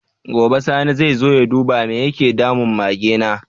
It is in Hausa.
Gobe sani zai zo ya duba me yake damun Mage na?